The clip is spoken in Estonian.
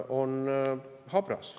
–, on habras.